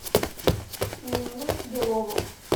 нину белову